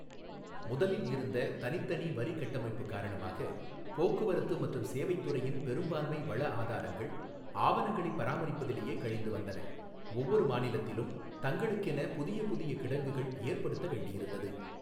முதலில் இருந்த தனித்தனி வரிக்கட்டமைப்பு காரணமாக, போக்குவரத்து மற்றும் சேவைத் துறையின் பெரும்பான்மை வளஆதாரங்கள், ஆவணங்களைப் பராமரிப்பதிலேயே கழிந்து வந்தன, ஒவ்வொரு மாநிலத்திலும் தங்களுக்கென புதிய புதிய கிடங்குகள் ஏற்படுத்த வேண்டியிருந்தது.